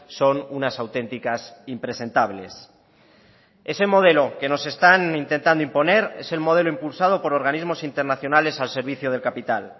son unas auténticas impresentables ese modelo que nos están intentando imponer es el modelo impulsado por organismos internacionales al servicio del capital